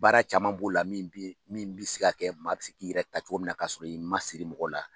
Baara caman b'o la min be min be se ka kɛ maa bi se k'i yɛrɛ ta cogo min na, kaa sɔrɔ i masiri mɔgɔ la ɛɛ